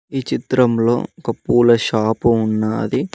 ఈ చిత్రం లో ఒక పూల షాప్ ఉంది.